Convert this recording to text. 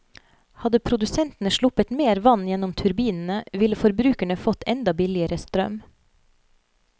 Hadde produsentene sluppet mer vann gjennom turbinene, ville forbrukerne fått enda billigere strøm.